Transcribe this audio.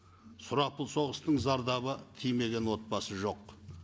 сұрапыл соғыстың зардабы тимеген отбасы жоқ